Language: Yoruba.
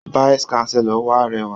Vice chancellor wa rẹwà.